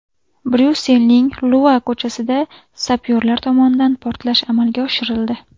Bryusselning Lua ko‘chasida sapyorlar tomonidan portlash amalga oshirildi.